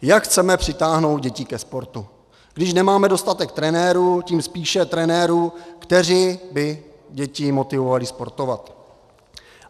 Jak chceme přitáhnout děti ke sportu, když nemáme dostatek trenérů, tím spíše trenérů, kteří by děti motivovali sportovat?